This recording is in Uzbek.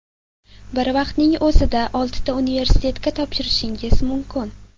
Bir vaqtning o‘zida oltita universitetga topshirishingiz mumkin.